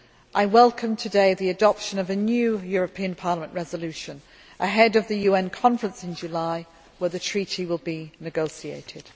I welcome today the adoption of a new European Parliament resolution ahead of the UN Conference in July, when the treaty will be negotiated.